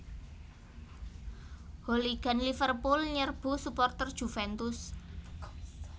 Hooligan Liverpool nyerbu suporter Juventus